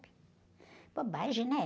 Bobagem, né?